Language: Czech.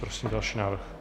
Prosím další návrh.